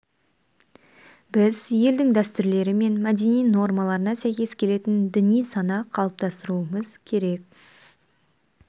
біз елдің дәстүрлері мен мәдени нормаларына сәйкес келетін діни сана қалыптастыруымыз керек